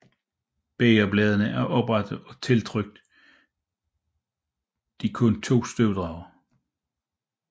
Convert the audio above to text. Bægerbladene er oprette og tiltrykt de kun to støvdragere